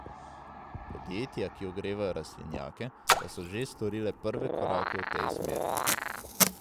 Podjetja, ki ogrevajo rastlinjake, pa so že storile prve korake v tej smeri.